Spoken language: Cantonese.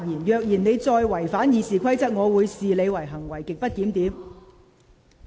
如果你再違反《議事規則》，我會視之為行為極不檢點。